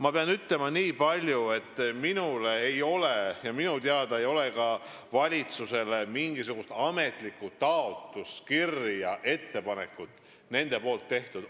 Ma pean ütlema veel nii palju, et minu teada valitsusele, sh minule, ei ole mingisugust ametlikku taotlust, kirja või ettepanekut tehtud.